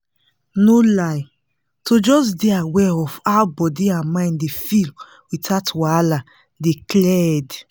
no lie to just dey aware of how body and mind dey feel without wahala dey clear head